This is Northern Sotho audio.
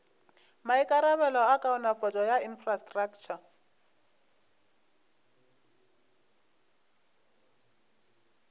maikarabelo a kaonafatšo ya infrastraktšha